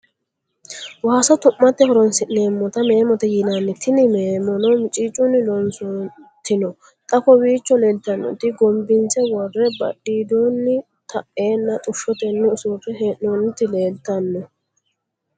Waasa tu'mmate horonnisinemota meemmote yinnani tini meemono micicunni loosanitino xa kowiicho leelitanotino gomibbinise worre badhiddonno taena xushshottenni usurre heennonitti leelitano